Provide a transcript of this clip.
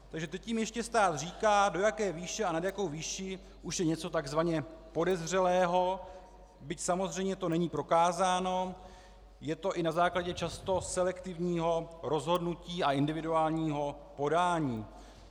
Takže teď jim ještě stát říká, do jaké výše a nad jakou výši už je něco takzvaně podezřelého, byť samozřejmě to není prokázáno, je to i na základě často selektivního rozhodnutí a individuálního podání.